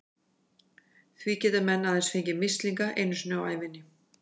Því geta menn aðeins fengið mislinga einu sinni á ævinni.